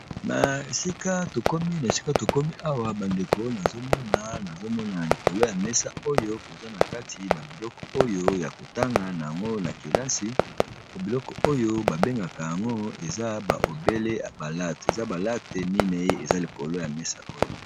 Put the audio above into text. Esika tokomi awa ba ndeko nazomona likolo ya meza oyo kaza biloko yako tangisa na kelasi eza latte mine eza likolo ya mesa.